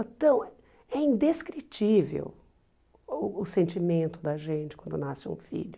É tão é indescritível o sentimento da gente quando nasce um filho.